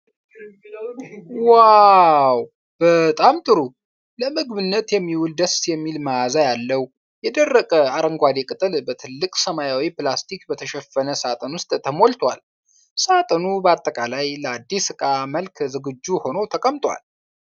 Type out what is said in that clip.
ዋው፣ በጣም ጥሩ! ለምግብነት የሚውል ደስ የሚል መዓዛ ያለው የደረቀ አረንጓዴ ቅጠል በትልቅ ሰማያዊ ፕላስቲክ በተሸፈነ ሣጥን ውስጥ ተሞልቷል። ሣጥኑ በአጠቃላይ ለአዲስ ዕቃ መላክ ዝግጁ ሆኖ ተቀምጧል።